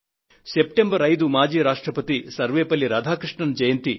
September 5 మాజీ రాష్ట్రపతి సర్వేపల్లి రాధాకృష్ణన్ జయంతి